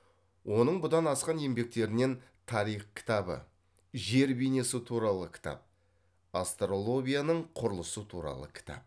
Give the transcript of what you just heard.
оның бұдан басқа еңбектерінен тарих кітабы жер бейнесі туралы кітап астролобияның құрылысы туралы кітап